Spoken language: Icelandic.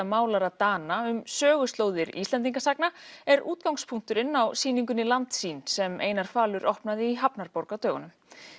málara Dana um söguslóðir Íslendingasagna er útgangspunkturinn á sýningunni Landsýn sem Einar falur opnaði í hafnarborg á dögunum